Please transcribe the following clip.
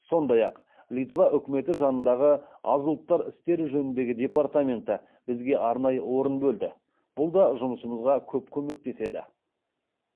сондай ақ литва үкіметі жанындағы аз ұлттар істері жөніндегі департаменті бізге арнайы орын бөлді бұл да жұмысымызға көп көмектеседі